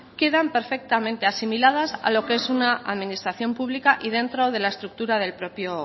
quedan perfectamente asimiladas a lo que es una administración pública y dentro de la estructura del propio